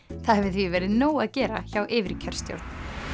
það hefur því verið nóg að gera hjá yfirkjörstjórn